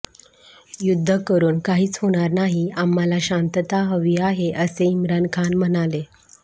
युद्ध करून काहीच होणार नाही आम्हाला शांतता हवी आहे असे इम्रान खान म्हणाले